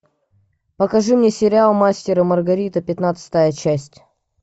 покажи мне сериал мастер и маргарита пятнадцатая часть